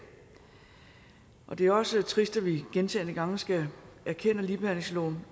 og det er også trist at vi gentagne gange skal erkende at ligebehandlingsloven